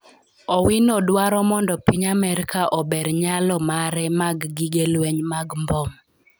Owino dwaro mondo piny Amerka ober nyalo mare mag gige lweny mag mbom